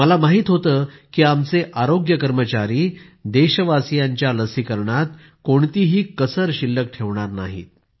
मला माहित होतं की आमचे आरोग्य कर्मचारी देशवासियांच्या लसीकरणात कोणतीही कसर शिल्लक ठेवणार नाहीत